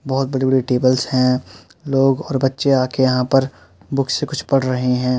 बहुत बड़ी- बड़ी टेबल्स है। लोग और बच्चे आ के यहाँ पर बुक से कुछ पढ़ रहे हैं।